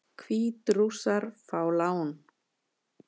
Hvítrússar fá lán